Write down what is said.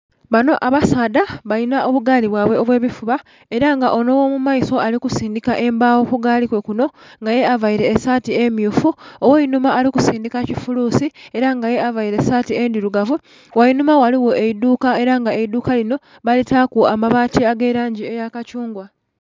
Banho abasaadha balina obu gaali bwaibwe obwe bifuba era nga onho ogho mu maiso ali kusindhika embago ku gaali kwe kunho nga ye avaire esaati emyufu, ogheinhuma ali kusindhika kifulusi era nga ye avaire esaati endhirugavu. Ghainhuma ghaligho eidhuka era nga eidhuka linho balitaku amabati ga langi eya kathungwa.